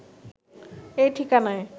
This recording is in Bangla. এই ঠিকানায়